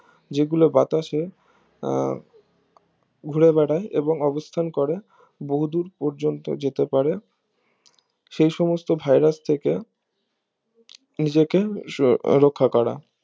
যেগুলো বাতাসে আহ ঘুরেবেড়ায় এবং অবথান করে বহুদূর পর্যন্তু যেতে পারে সেই সমস্ত ভাইরাস থেকে নিজেকে রক্ষা করা